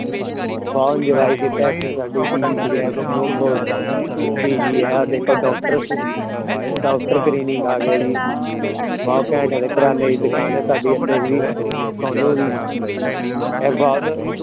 ਬਹੁਤ enjoy ਕੀਤਾ ਤੇ ਸਾਡੇ PG ਹੈ ਦੇਖੋ doctor doctor clinic ਆ ਗਿਆ ਜੀ, ਬਹੁਤ ਘੈਂਟ ਹੈ ਤੇ ਕਰਿਆਨੇ ਦੀ ਦੁਕਾਨ ਹੈ ਸਾਡੇ ਇੱਥੇ ਵੀ ਸੋਨੂੰ ਦੀ ਇਹ ਬਹੁਤ